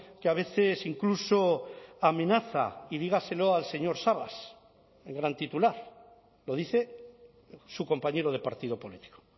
que a veces incluso amenaza y dígaselo al señor sabas el gran titular lo dice su compañero de partido político